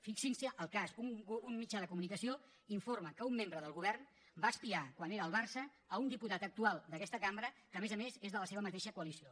fixin se el cas un mitjà de comunicació informa que un membre del govern va espiar quan era al barça un diputat actual d’aquesta cambra que a més a més és de la seva mateixa coalició